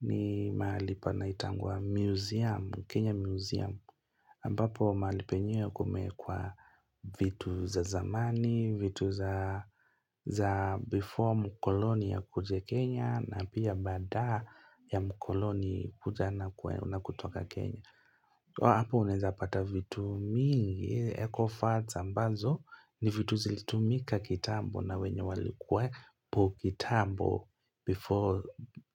ni mahali panaitangwa museum, Kenya museum. Ambapo maali penye kumeekwa vitu za zamani, vitu za before mkoloni akuje Kenya na pia baada ya mkoloni kutoka Kenya. Apo uneza pata vitu mingi, ecofards ambazo ni vitu zilitumika kitambo na wenye walikuapo kitambo before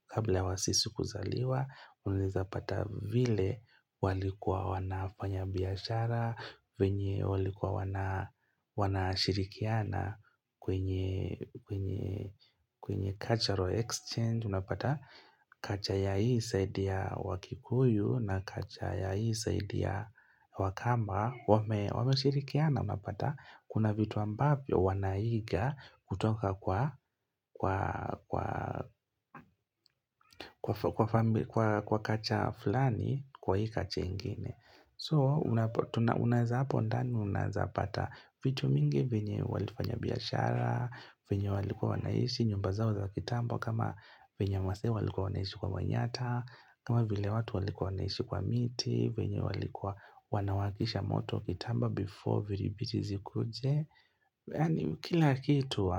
kabla wasisi kuzaliwa, uneza pata vile walikua wanafanya biashara, wenye walikua wanashirikiana kwenye cultural exchange. Unapata kacha ya hii saidi ya wakikuyu na kacha ya hii saidi ya wakamba Wameshirikiana unapata kuna vitu ambavyo wanaiga kutoka kwa kwa kacha fulani kwa hii kache ingine So unaeza hapo ndani unaezapata vitu mingi venye walifanya biashara venye walikua wanaishi nyumba zao za kitamba kama venye wasee walikua wanaishi kwa manyata kama vile watu walikua wanaishi kwa miti venye walikua wanawakisha moto kitambo before viribiti zikuje Yani kila kitu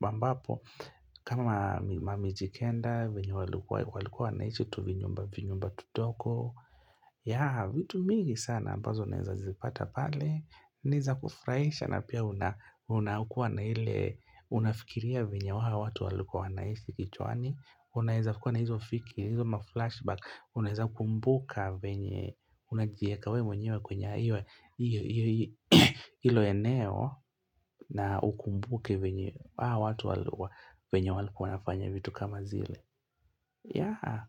ambapo kama mamijikenda venye walikua wanaishi tuvinyumba vinyumba vidogo ya vitu mingi sana ambazo naeza zipata pale niza kufuraisha na pia unakua na iile unafikiria venye hao watu walikua wanaishi kichwani Unaeza kua na hizo fiki, hizoma flashback Unaeza kumbuka venye Unajieka we mwenyewe kwenye iwe Ilo eneo na ukumbuke venye hawa watu walikua venye walikua wanafanya vitu kama zile ya.